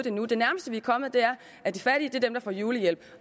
endnu det nærmeste vi er kommet er at de fattige er dem der får julehjælp